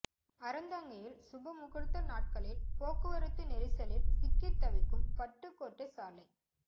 அறந்தாங்கியில் சுபமுகூர்த்த நாட்களில் போக்குவரத்து நெரிசலில் சிக்கி தவிக்கும் பட்டுக்கோட்டை சாலை